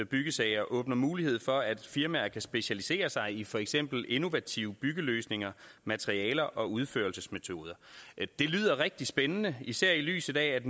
byggesager åbner mulighed for at firmaer kan specialisere sig i for eksempel innovative byggeløsninger materialer og udførelsesmetoder det lyder rigtig spændende især i lyset af